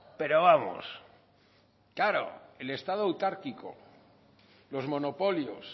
pero vamos claro el estado autárquico los monopolios